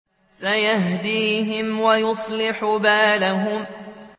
سَيَهْدِيهِمْ وَيُصْلِحُ بَالَهُمْ